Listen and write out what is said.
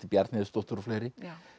Bjarnhéðinsdóttur og fleiri